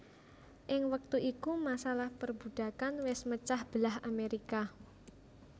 Ing wektu iku masalah perbudakan wés mecah belah Amerika